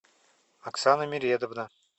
оксана миредовна